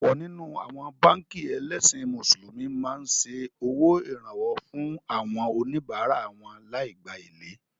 Ọ̀pọ̀ nínú àwọn báànkì ẹlẹ́sìn Mùsùlùmí máa ń ṣe owó Ìrànwọ́ fún àwọn oníbárá wọn lai gbá èlé